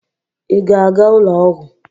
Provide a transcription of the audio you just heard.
Ị ga-aga ụlọ ọgwụ?